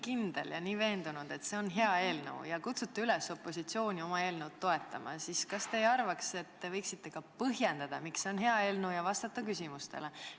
Kui te olete nii veendunud, et see on hea eelnõu, ja kutsute üles opositsiooni seda toetama, siis kas te ei arva, et te võiksite ka põhjendada, miks see on hea eelnõu, ja vastata küsimustele?